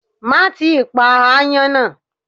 Má ì tí pa ááyán nà.